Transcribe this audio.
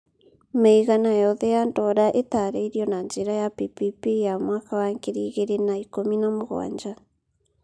Mĩigana yothe ya dora ĩtaarĩirio na njĩra ya PPP ya mwaka wa ngiri igĩrĩ na ikũmi na mũgwanja.